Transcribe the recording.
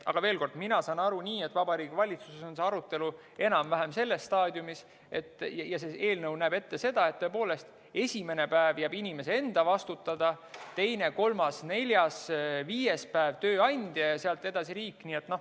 Aga veel kord: mina saan aru nii, et Vabariigi Valitsuses on see arutelu enam-vähem selles staadiumis ja eelnõu näeb ette seda, et esimene päev jääb inimese enda vastutada, teine, kolmas, neljas, viies päev tööandjale ja sealt edasi riik.